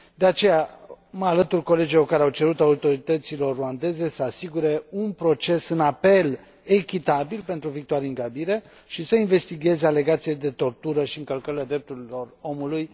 De aceea mă alătur colegilor care au cerut autorităților ruandeze să asigure un proces în apel echitabil pentru Victoire Ingabire și să investigheze alegațiile de tortură și încălcări ale drepturilor omului.